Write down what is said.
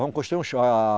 Vamos construir um